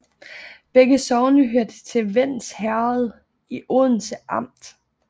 Begge sogne hørte til Vends Herred i Odense Amt